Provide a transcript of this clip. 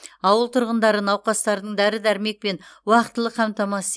ауыл тұрғындары науқастардың дәрі дәрмекпен уақытылы қамтамасыз